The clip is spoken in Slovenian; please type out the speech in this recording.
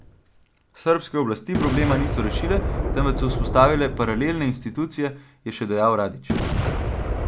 Srbske oblasti problema niso rešile, temveč so vzpostavile paralelne institucije, je še dejal Radić.